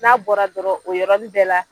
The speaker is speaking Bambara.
N'a bɔra dɔrɔn o yɔrɔnin bɛɛ la,